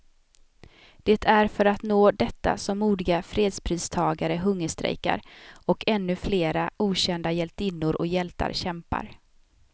Det är för att nå detta som modiga fredspristagare hungerstrejkar, och ännu flera okända hjältinnor och hjältar kämpar.